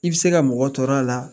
I bɛ se ka mɔgɔ tɔɔrɔ a la